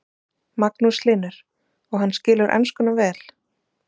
Magnús Hlynur: Og hann skilur enskuna vel?